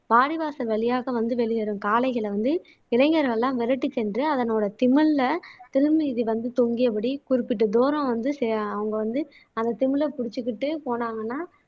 வாடிவாசல் வழியாக வந்து வெளியேறும் காளைகளை வந்து இளைஞர்கள் எல்லாம் விரட்டிச் சென்று அதனோட திமில்ல திமில் மீது வந்து தொங்கியபடி குறிப்பிட்ட தூரம் வந்து செ அவங்க வந்து அந்த திமிலை புடிச்சுக்கிட்டே போனாங்கன்னா